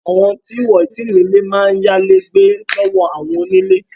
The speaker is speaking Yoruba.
Àwọn tí wọn ò tí ì ní ilé máa ń yá ilé gbé lọ́wọ́ àwọn onílé